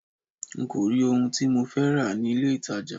N kò rí ohun tí mo fẹ́ rà ní ilé ìtajà.